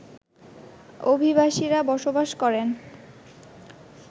অভিবাসীরা বসবাস করেন